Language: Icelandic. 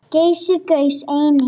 Geysir gaus einnig.